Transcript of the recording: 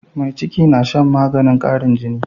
Mai ciki na Shan maganin qarin jini